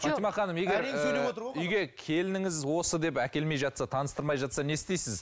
фатима ханым егер үйге келініңіз осы деп әкелмей жатса таныстырмай жатса не істейсіз